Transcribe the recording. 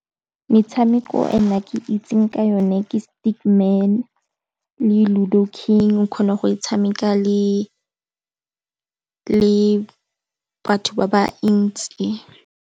Metshameko e nna ke itseng ka yone ke Stick Man le Ludo King. O kgona go e tshameka le batho ba bantsi.